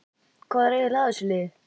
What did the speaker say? Hvað var eiginlega að þessu liði?